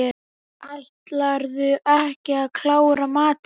Ætlarðu ekki að klára matinn?